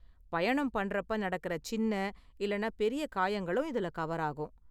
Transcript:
பயணம் பண்றப்ப நடக்கற சின்ன இல்லனா பெரிய காயங்களும் இதுல கவர் ஆகும்.